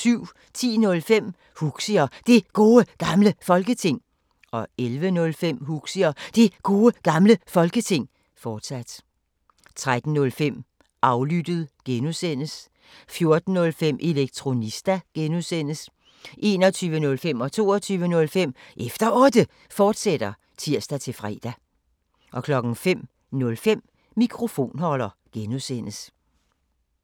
10:05: Huxi og Det Gode Gamle Folketing 11:05: Huxi og Det Gode Gamle Folketing, fortsat 13:05: Aflyttet G) 14:05: Elektronista (G) 21:05: Efter Otte, fortsat (tir-fre) 22:05: Efter Otte, fortsat (tir-fre) 05:05: Mikrofonholder (G)